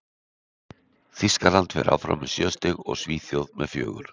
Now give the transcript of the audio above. Þýskaland fer áfram með sjö stig og Svíþjóð með fjögur.